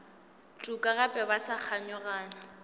tuka gape ba sa kganyogana